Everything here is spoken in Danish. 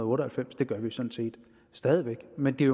otte og halvfems det gør vi sådan set stadig væk men det er